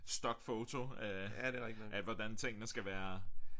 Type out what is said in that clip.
Stock photo af af hvordan tingene skal være